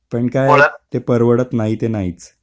पण काय ते परवडत नाही नाही ते नाहीच.